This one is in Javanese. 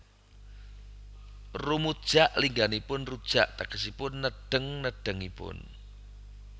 Rumujak lingganipun rujak tegesipun nedheng nedhengipun